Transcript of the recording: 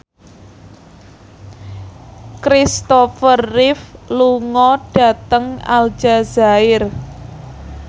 Kristopher Reeve lunga dhateng Aljazair